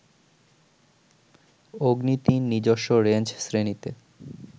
অগ্নি ৩ নিজস্ব রেঞ্জ শ্রেণীতে